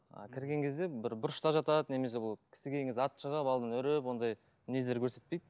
а кірген кезде бір бұрышта жатады немесе ол кісі келген кезде атып шығып үріп ондай мінездер көрсетпейді